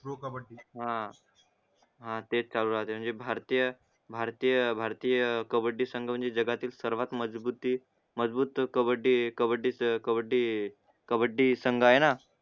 हा हा तेच म्हणजे भारतीय भारतीय भारतीय कबड्डी संग म्हणजे जगातील सर्वात मजबूती मजबूत कबड्डी कबड्डीचा कबड्डी संगआहे ना